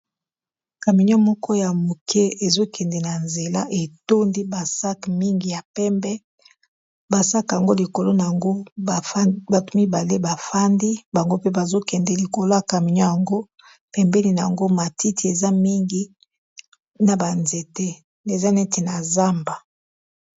kaminio moko ya moke ezokende na nzela etondi ba sak mingi ya pembe ba sak yango likolo na yango batu mibale bafandi bango mpe bazokende likola kaminio yango pembeni na yango matiti eza mingi na ba nzete eza neti na zamba.